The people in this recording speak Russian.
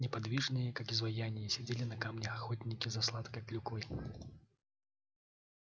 неподвижные как изваяния сидели на камне охотники за сладкой клюквой